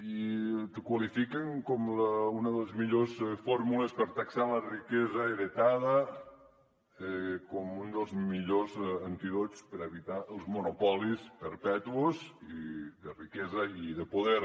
i el qualifiquen com una de les millors fórmules per taxar la riquesa heretada com un dels millors antídots per evitar els monopolis perpetus i de riquesa i de poder